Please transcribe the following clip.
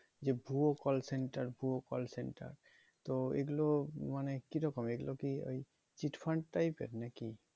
যে ভুয়ো call center ভুয়ো call center তো এই গুলো মানে কিরকম এই গুলো কি ওই cheat fund type এর নাকি?